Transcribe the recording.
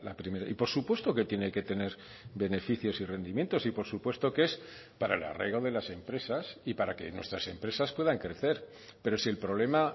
primera y por supuesto que tiene que tener beneficios y rendimientos y por supuesto que es para el arraigo de las empresas y para que nuestras empresas puedan crecer pero si el problema